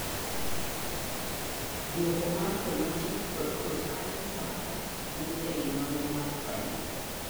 duoko mar thematic kod cross - cutting factor wuok ei nonro mar primary